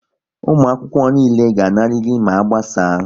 Ụmụakwụkwọ niile ga-anarịrị ma a gbasaa!